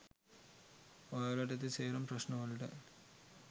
ඔයාලට ඇති සේරම ප්‍රශ්න වලට